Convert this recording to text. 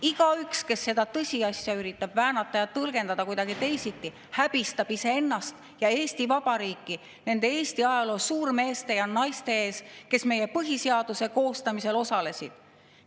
Igaüks, kes seda tõsiasja üritab väänata ja tõlgendada kuidagi teisiti, häbistab iseennast ja Eesti Vabariiki nende Eesti ajaloo suurmeeste ja ‑naiste silmis, kes meie põhiseaduse koostamisel osalesid.